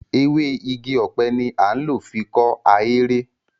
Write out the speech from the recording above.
Ewé igi ọ̀pẹ ni a ń lò fi kọ́ ahéré.